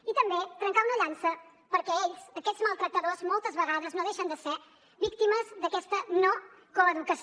i també trencar una llança perquè ells aquests maltractadors moltes vegades no deixen de ser víctimes d’aquesta no coeducació